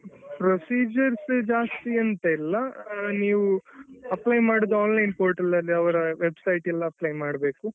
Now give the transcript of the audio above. procedures ಜಾಸ್ತಿ ಅಂತ ಇಲ್ಲ ನೀವು apply ಮಾಡೋದು online portal ನಲ್ಲಿಅವರ website ಅಲ್ಲಿ apply ಮಾಡ್ಬೇಕು.